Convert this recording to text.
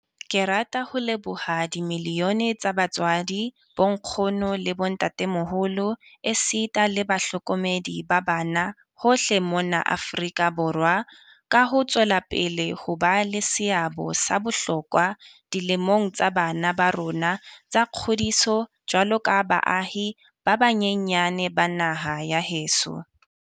Ke rata ho leboha dimiliyone tsa batswadi, bonkgono le bo ntatemoholo esita le bahlokomedi ba bana hohle mona Afrika Borwa ka ho tswela pele ho ba le seabo sa bohlokwa dilemong tsa bana ba rona tsa kgodiso jwaloka baahi ba banyenyane ba naha ya heso.